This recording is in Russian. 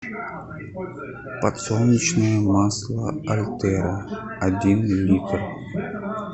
подсолнечное масло альтера один литр